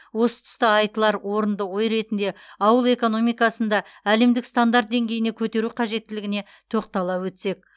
осы тұста айтылар орынды ой ретінде ауыл экономикасын да әлемдік стандарт деңгейіне көтеру қажеттілігіне тоқтала өтсек